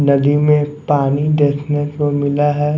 नदी में पानी देखने को मिला है।